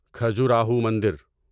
کھجوراہو مندر